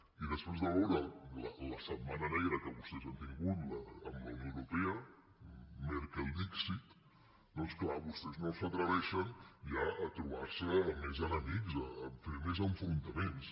i després de veure la setmana negra que vostès han tingut amb la unió europea merkel dixitclar vostès no s’atreveixen ja a trobar se més enemics a fer més enfrontaments